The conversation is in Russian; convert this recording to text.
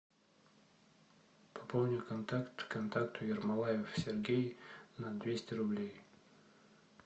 пополни контакт контакту ермолаев сергей на двести рублей